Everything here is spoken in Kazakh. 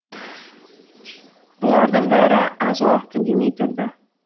бұлардың бәрі аз уақыт үндемей тұрды